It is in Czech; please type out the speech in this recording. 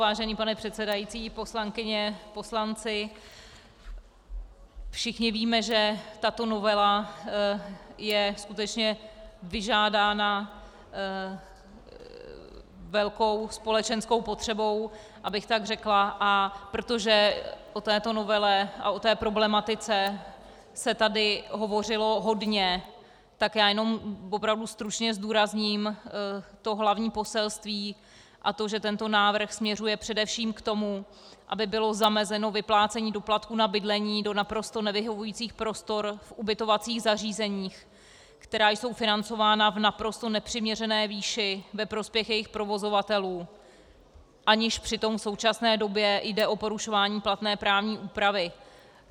Vážený pane předsedající, poslankyně, poslanci, všichni víme, že tato novela je skutečně vyžádána velkou společenskou potřebou, abych tak řekla, a protože o této novele a o té problematice se tady hovořilo hodně, tak já jenom opravdu stručně zdůrazním to hlavní poselství, a to že tento návrh směřuje především k tomu, aby bylo zamezeno vyplácení doplatků na bydlení do naprosto nevyhovujících prostor v ubytovacích zařízeních, která jsou financována v naprosto nepřiměřené výši ve prospěch jejich provozovatelů, aniž přitom v současné době jde o porušování platné právní úpravy.